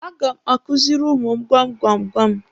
A ga m akuziri ụmụ m gwam gwam gwam.